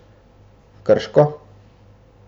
Krško.